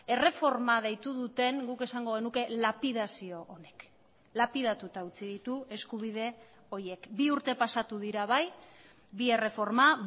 erreforma deitu duten guk esango genuke lapidazio honek lapidatuta utzi ditu eskubide horiek bi urte pasatu dira bai bi erreforma